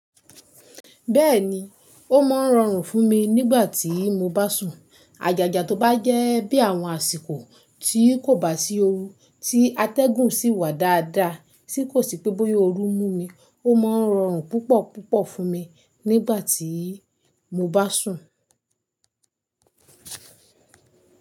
Bẹ́ẹ̀ni, ó máa ń rọrùn fún mi nígbà tí mo bá sùn. Àgaga tó bá jẹ́ bí àwọn àsìkò tí kò bá sí ooru, tí atẹ́gùn sì wà dáadáa, tí kò sì pé bóyá ooru mú mi, ó máa ń rọrùn púpọ̀púpọ̀ fún mi nígbà tí mo bá sùn.